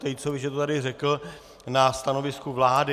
Tejcovi, že to tady řekl, na stanovisku vlády.